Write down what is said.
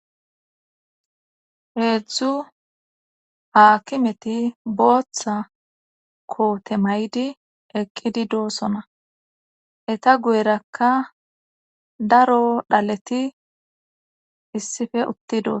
heedzdzu haakimeti booththa koote maydi eqqidi doossona eta guyerakka daro dhaleti issife utti dos